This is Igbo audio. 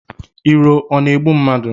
Iro ọ na-egbu mmadụ?